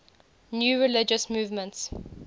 new religious movements